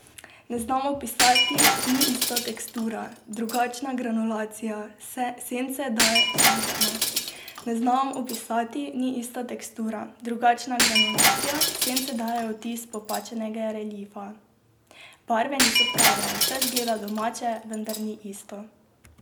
Ne znam opisati, ni ista tekstura, drugačna granulacija, sence dajejo vtis popačenega reliefa, barve niso prave, vse zgleda domače, vendar ni isto.